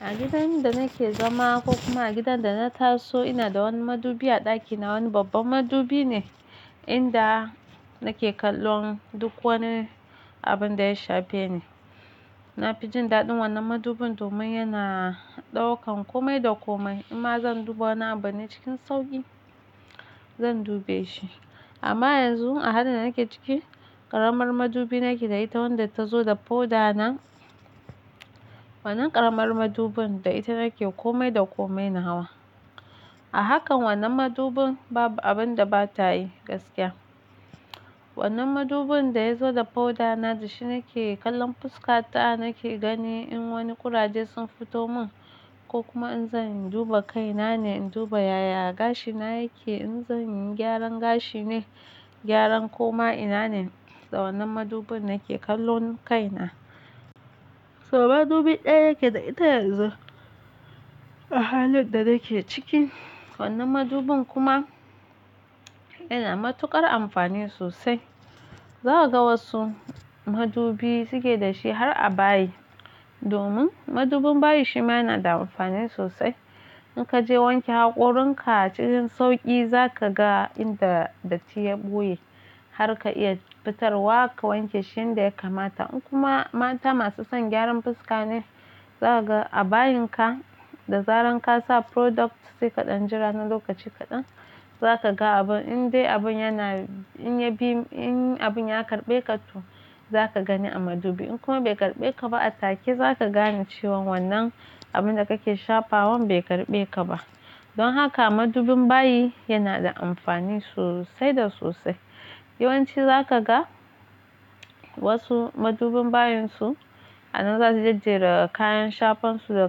A gidan da nake zama ko kuma a gidan da na taso ina da wani madubi a ɗakina, wani babban madubi ne inda nake kallon duk wani abun da ya shafe ni. Na fi jin daɗin wannan madubin domin yana ɗaukan komai da komai In ma zan duba wani abu ne cikin sauƙi zan dube shi. Amma yanzu a halin da nake ciki, ƙaramar madubi nake da ita wadda ta zo da powder na. Wannan ƙaramar madubin da ita nake kome da kome na hawa. A hakan wannan madubin babu abin da bata yi gaskiya. Wannan madubin da ya zo da powder na, da shi nake kallon fuska ta, nake ganin in wani kuraje sun fito mun ko kuma in zan duba kai na ne in duba yaya gashi na yake, in zan yi gyaran gashi ne, gyaran koma ina ne, da wannan madubin nake kallon kai na. So madubi ɗaya yake da ita yanzu a halin da nake ciki. Wannan madubin kuma yana matuƙar amfani sosai. Za ka ga wasu madubi suke da shi har a bayi domin madubin bayi shi ma yana da amfani sosai. In ka je wanke haƙorin ka cikin sauƙi za ka ga inda datti ya ɓuye har ka iya fitar wa ka wanke shi inda ya kamata. In kuma mata masu son gyaran fuska ne, za ka ga a bayinka da zaran ka sa product sai kaɗan, jira na lokaci kaɗan za ka ga abun. In dai abun yana, in abun ya karɓe ƙato za ka gani a madubi. In kuma bai karɓe ƙaba a take za ka gane cewan wannan abun da kake shafawa bai karɓe ƙaba. Don haka madubin bayi yana da amfani sosai da sosai. Yawanci za ka ga wasu madubin bayin su a nan za su jajjere kayan shafan su da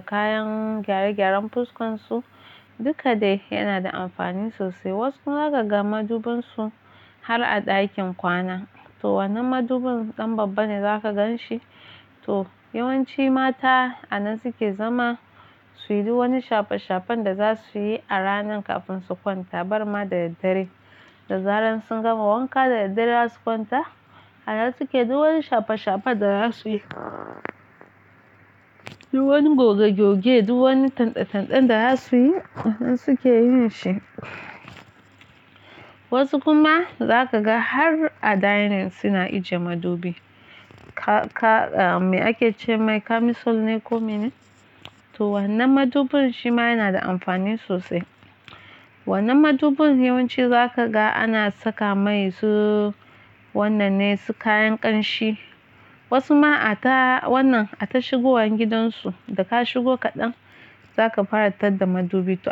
kayan gyare-gyaren fuskan su, duka dai yana da amfani sosai. Wasu za ka ga madubin su har a ɗakin kwana. To wannan madubin ɗan babba ne za ka gan shi. To yawanci mata a nan suke zama suyi duk wani shafe-shafen da za su yi a ranar kafin su kwanta. Barma da daddare, da zaran sun gama wanka da daddare za su kwanta, a nan suke duk wani shafe-shafen da za su yi. Duk wani goge-goge, duk wani tande-tanden da za su yi a nan suke yin shi. Wasu kuma za ka ga har a dining suna ajiye madubi. Me ake ce, mai kamisol ne ko mene? To wannan madubin shi ma yana da amfani sosai. Wannan madubin yawanci za ka ga ana saka mai su wannan ne su kayan ƙanshi. Wasu ma a ta wannan, a ta shigowan gidansu, da ka shigo kaɗan za ka fara tadda madubi to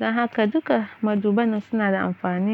don haka duka maduban nan suna da amfani.